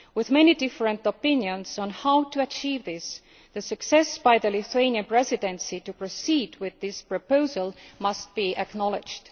With many different opinions on how to achieve that, the success of the Lithuanian Presidency in proceeding with this proposal has to be acknowledged.